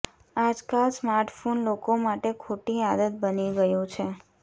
આજકાલ સ્માર્ટફોન લોકો માટે ખોટી આદત બની ગયું છે